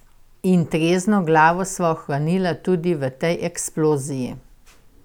In trezno glavo sva ohranila tudi v tej eksploziji.